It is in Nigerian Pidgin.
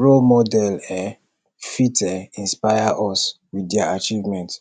role model um fit um inspire us with their achievement